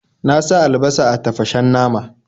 Na sa albasa a tafashen nama.